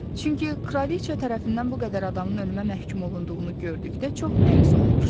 Çünki Kraliçea tərəfindən bu qədər adamın ölümə məhkum olunduğunu gördükdə çox məyus olmuşdu.